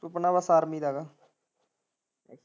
ਸੁਪਨਾ ਬਸ army ਦਾ ਵਾ।